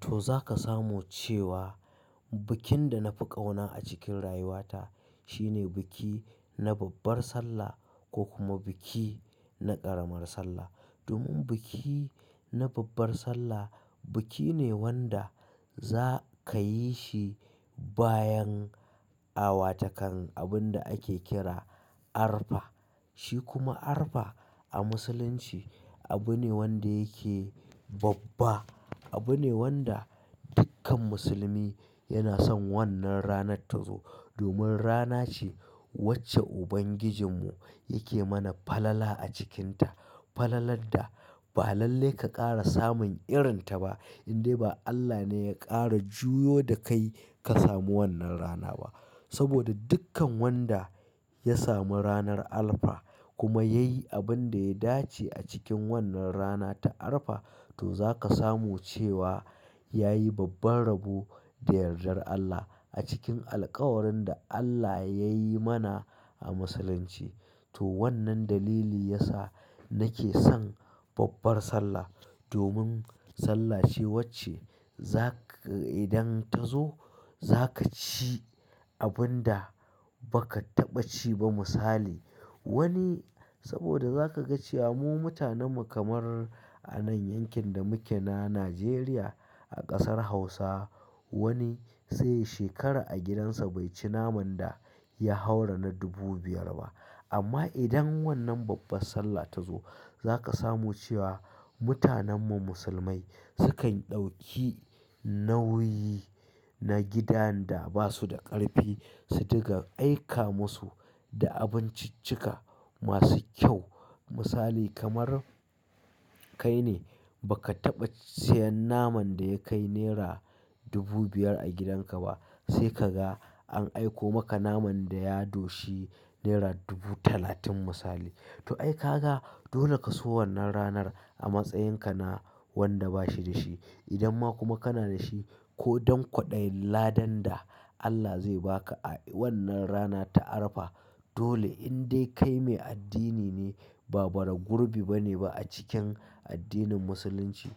To zaka samu cewa bikin da na fi ƙauna a cikin rayuwata shine biki na babbar Sallah ko kuma biki na ƙaramar Sallah. Domin biki na babbar Sallah biki ne wanda za ka yi shi bayan awa takan abin da ake kira Arfa. Shi kuma Arfa a musulunci abune wanda yake babba. Abu ne wanda dukkan musulmi yana son wannan ranar ta zo. Domin rana ce wacce ubangijinmu yake mana falala a cikinta. Falalar da ba lalle ka ƙara samun irin ta ba. Indai ba Allah ne ya ƙara juyo da kai ka samu wannan rana ba. Saboda dukkan wanda ya samu ranar Arfa kuma ya yi abin da ya dace a cikin wannan rana ta Arfa to zaka samu cewa ya yi babban rabo da yardar Allah a cikin alkawarin da Allah yayi mana a musulunci. To wannan dalili ya sa nake son babbar Sallah. Domin Sallah ce wacce za ka idan ta zo za ka ci abin da ba ka taɓa ci ba misali. Wani saboda za ka ga cewa mu mutanenmu kamar anan yankin da muke na Najeriya a ƙasar Hausa wani sai ya shekara a gidansa bai ci naman da ya haura na dubu biyar ba. Amma idan wannan babbar Sallah ta zo za ka samu cewa mutanenmu musulmai sukan ɗauki nauyi na gidan da ba su da ƙarfi su diga aika musu da abinciccika masu kyau. Misali kamar kai ne ba ka taɓa siyan naman da ya kai naira dubu biyar a gidan ka ba sai kaga an aiko maka naman da ya doshi naira dubu talatin misali. To ai kaga dole ka so wannan ranar a matsayin ka na wanda ba shi da shi. Idan ma kuma kana da shi ko don kwaɗayin ladan da Allah zai ba ka a wannan rana ta Arfa dole indai kai mai addini ne ba bara gurbi bane ba a cikin addinin musulunci.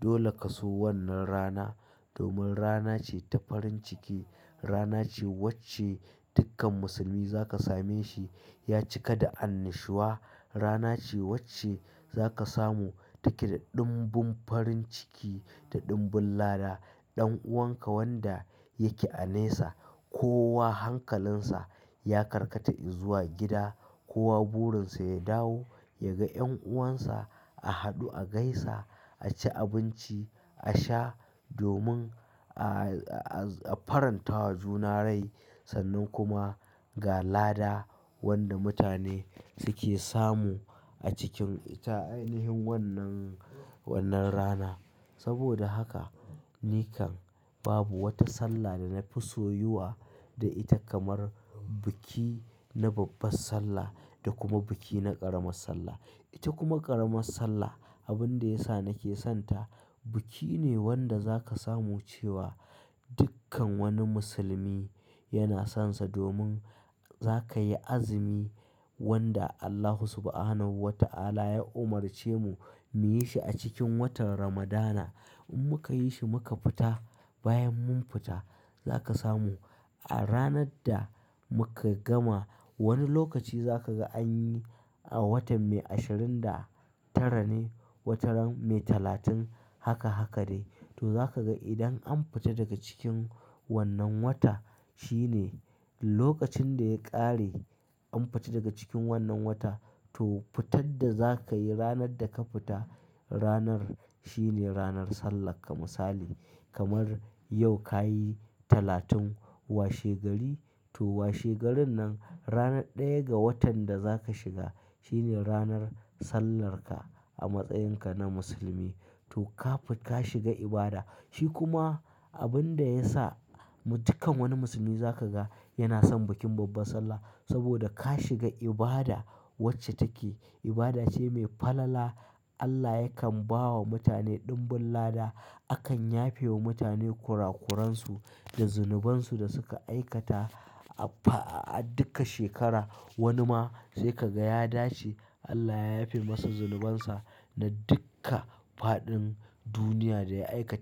Dole ka so wannan rana domin rana ce ta farin ciki. Rana ce wacce dukkan musulmi za ka same shi ya cika da annashuwa. Rana ce wacce za ka samu take da ɗumbun farin ciki da ɗumbun lada. Ɗan'uwanka wanda yake a nesa ko wa hankalinsa ya karkata izuwa gida ko wa burinsa ya dawo ya ga 'yan'uwansa a haɗu a gaisa, a ci abinci, a sha domin a faranta wa juna rai sannan kuma ga lada wanda mutane suke samu a cikin ta. Ainihin wannan, wannan rana. Saboda haka ni kam babu wata Sallah da na fi soyuwa da ita kamar biki na babbar Sallah da kuma biki na ƙaramar Sallah. Ita kuma ƙaramar Sallah abin da ya sa nake son ta biki ne wanda za ka samu cewa dukkan wani musulmi yana son sa domin za ka yi azumi wanda Allahu subhanahu wa ta'ala ya umarce mu mu yi shi a cikin watan Ramadana. In muka yi shi muka fita bayan mun fita za ka samu a ranar da muka gama wani lokaci za ka ga an yi a watan mai ashirin da tara ne, watan mai talatin haka haka ne. To za ka ga idan an fita daga cikin wannan wata shine lokacin da ya ƙare an fita daga cikin wannan wata to fitar da za ka yi ranar da ka fita ranar shine ranar sallarka misali. Kamar yau ka yi talatin wa shegari to wa shegarin nan rana ɗaya ga watan da za ka shiga shine ranar sallarka a matsayin ka na musulmi. To ka shiga ibada. Shi kuma abin da ya sa dukkan wani musulmi za ka ga yana son bikin babbar Sallah saboda ka shiga ibada wacce take ibada ce mai falala. Allah yakan ba wa mutane ɗumbun lada. Akan yafe wa mutane kurakuran su da zunubansu da suka aikata a dukka shekara. Wani ma sai ka ga ya dace Allah ya yafe masa zunubansa na dukka faɗin duniya da ya aikata.